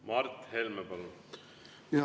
Mart Helme, palun!